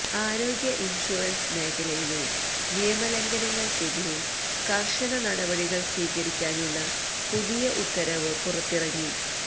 ആരോഗ്യ ഇൻഷൂറൻസ് മേഖലയിലെ നിയമലംഘനങ്ങൾക്കെതിരെ കർശന നടപടികൾ സ്വീകരിക്കാനുള്ള പുതിയ ഉത്തരവ് പുറത്തിറങ്ങി